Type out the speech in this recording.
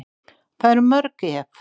Það eru mörg ef.